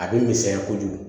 A bɛ misɛnya kojugu